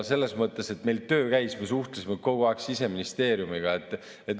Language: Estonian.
Selles mõttes meil töö käis, me suhtlesime kogu aeg Siseministeeriumiga.